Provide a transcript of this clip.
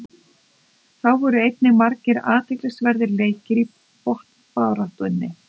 Þá voru einnig margir athyglisverðir leikir í botnbaráttunni.